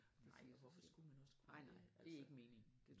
Nej og hvorfor skulle man også kunne det altså